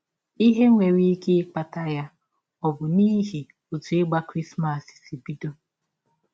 Ihe nwere ike ịkpata ya ọ̀ bụ n’ihi ọtụ ịgba Krismas sị bidọ?